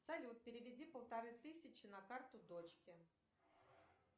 салют переведи полторы тысячи на карту дочке